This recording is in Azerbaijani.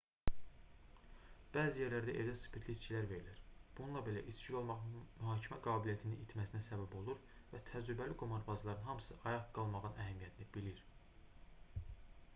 bəzi yerlərdə evdə spirtli içkilər verilir bununla belə içkili olmaq mühakimə qabiliyyətinin itməsinə səbəb olur və təcrübəli qumarbazların hamısı ayıq qalmağın əhəmiyyətini bilir